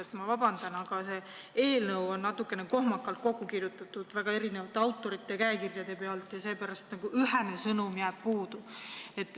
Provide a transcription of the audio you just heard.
Ma palun vabandust, aga see eelnõu on natuke kohmakalt kokku kirjutatud, seal on väga erinevate autorite käekirjad ja seepärast jääb ühene sõnum puudu.